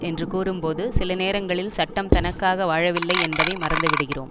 என்று கூறும்போது சில நேரங்களில் சட்டம் தனக்காக வாழவில்லை என்பதை மறந்துவிடுகிறோம்